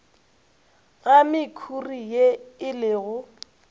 ga mekhuri ye e lego